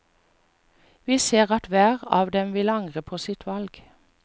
Vi ser at hver av dem vil angre på sitt valg.